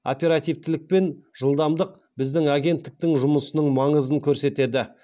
оперативтілік пен жылдамдық біздің агенттіктің жұмысының маңызын көрсетеді